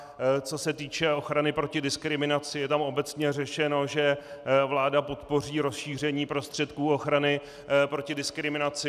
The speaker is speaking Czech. Co se týče ochrany proti diskriminaci, je tam obecně řečeno, že vláda podpoří rozšíření prostředků ochrany proti diskriminaci.